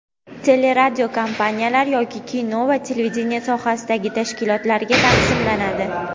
teleradiokompaniyalar yoki kino va televideniye sohasidagi tashkilotlarga taqsimlanadi.